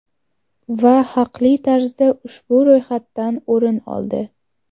Va haqli tarzda ushbu ro‘yxatdan o‘rin oldi.